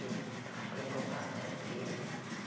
Eu tratei de voltar para a igreja né.